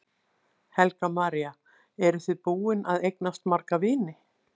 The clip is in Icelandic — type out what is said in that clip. Helga María: Eru þið búin að eignast marga vini?